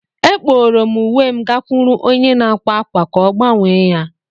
Akpọrọ m uwe m gakwuru onye na-akwa akwa ka ọ gbanwee ya.